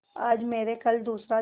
आज मरे कल दूसरा दिन